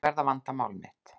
Ég verð að vanda mál mitt.